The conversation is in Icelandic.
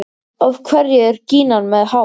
Af hverju er gínan með hár?